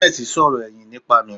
Goodness sọ̀rọ̀ ẹ̀yìn nípa mi.